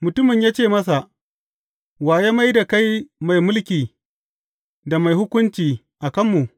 Mutumin ya ce masa, Wa ya mai da kai mai mulki da mai hukunci a kanmu?